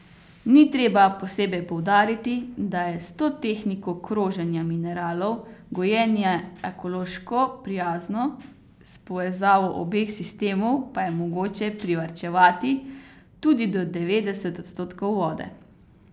Ni treba posebej poudariti, da je s to tehniko kroženja mineralov gojenje ekološko prijazno, s povezavo obeh sistemov pa je mogoče privarčevati tudi do devetdeset odstotkov vode.